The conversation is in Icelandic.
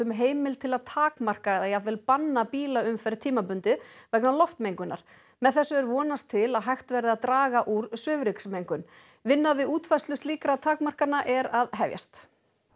heimild til að takmarka eða jafnvel banna bílaumferð tímabundið vegna loftmengunar með þessu er vonast til að hægt verði að draga úr svifryksmengun vinna við útfærslu slíkra takmarkana er að hefjast